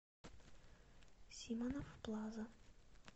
симонов плаза